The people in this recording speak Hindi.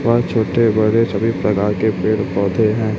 और छोटे बड़े सभी प्रकार के पेड़ पौधे है।